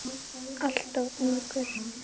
Alltof ungur.